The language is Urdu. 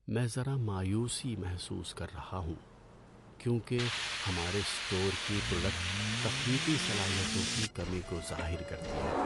میں ذرا مایوسی محسوس کر رہا ہوں کیونکہ ہمارے اسٹور کی پروڈکٹ تخلیقی صلاحیتوں کی کمی کو ظاہر کرتی ہے۔